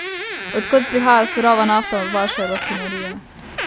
Od kod prihaja surova nafta v vaše rafinerije?